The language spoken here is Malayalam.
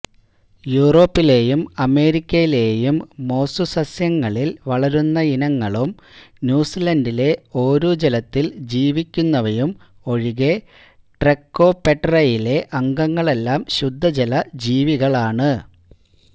യൂറോപ്പിലേയും അമേരിക്കയിലേയും മോസ്സുസസ്യങ്ങളിൽ വളരുന്നയിനങ്ങളും ന്യൂസിലന്റിലെ ഓരുജലത്തിൽ ജീവിക്കുന്നവയും ഒഴികെ ട്രൈക്കോപെടെറയിലെ അംഗങ്ങളെല്ലാം ശുദ്ധജല ജീവികളാണ്